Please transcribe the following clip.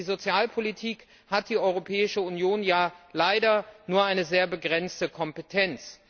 Für die Sozialpolitik hat die Europäische Union ja leider nur eine sehr begrenzte Kompetenz.